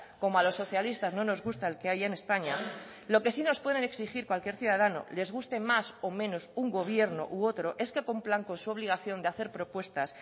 como a los socialistas no nos gusta el que hay en españa lo que sí nos pueden exigir cualquier ciudadano les guste más o menos un gobierno u otro es que cumplan con su obligación de hacer propuestas